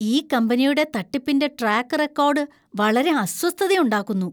ഈ കമ്പനിയുടെ തട്ടിപ്പിന്‍റെ ട്രാക്ക് റെക്കോർഡ് വളരെ അസ്വസ്ഥതയുണ്ടാക്കുന്നു.